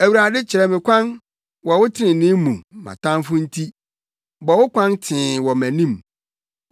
Awurade kyerɛ me kwan wɔ wo trenee mu mʼatamfo nti, bɔ wo kwan tee wɔ mʼanim.